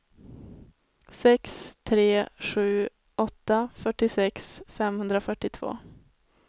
sex tre sju åtta fyrtiosex femhundrafyrtiotvå